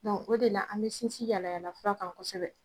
Don o de la an bɛ sinsin yaalayaala fiura kan kosɛbɛ.